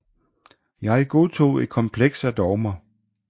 Jeg godtog et kompleks af dogmer